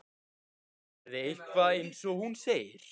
Að ég verði eitthvað, eins og hún segir.